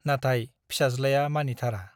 नाथाय फिसाज्लाया मानिथारा ।